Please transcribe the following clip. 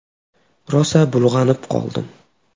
Rosa bulg‘anib qoldim.